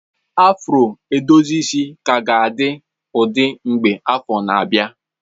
Afro edozi isi ka ga-adị ụdị mgbe afọ na-abịa.